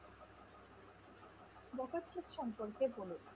ভগৎ সিং সম্পর্কে বল?